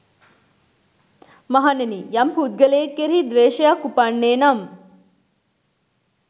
මහණෙනි, යම් පුද්ගලයෙක් කෙරෙහි ද්වේශයක් උපන්නේ නම්